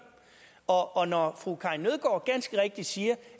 og og når fru karin nødgaard ganske rigtigt siger